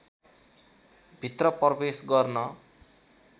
भित्र प्रवेश गर्न